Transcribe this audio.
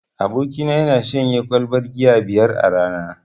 Abokina yana shanye kwalbar giya biyar a rana.